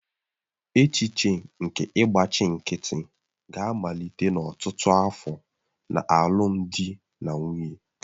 Echiche nke ịgbachi nkịtị ga-amalite n'ọtụtụ afọ na alụmdi na nwunye.